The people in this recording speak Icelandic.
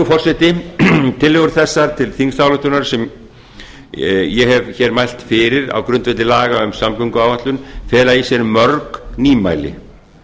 forseti tillögur þessar til þingsályktunar sem ég hef mælt fyrir á grundvelli laga um samgönguáætlun fela í sér mörg nýmæli